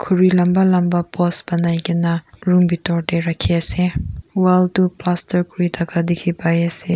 khuri lamba lamba post banai kena room bitor te rakhi ase Wall toh plaster kuri thaka dikhi pai ase.